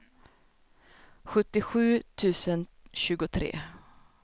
sjuttiosju tusen tjugotre